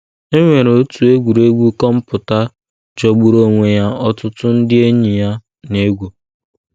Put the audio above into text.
E nwere otu egwuregwu kọmputa jọgburu onwe ya ọtụtụ ndị enyi ya na - egwu.